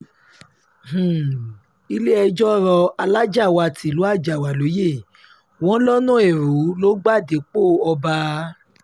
um ilé-ẹjọ́ rọ alájáàwá tìlú àjàáwá lóyè wọn lọ́nà ẹrú ló gba dépò ọba um